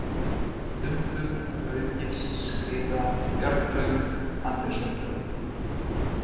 Dumbur, Rauðgilsskriða, Bjarglöng, Andrésartjörn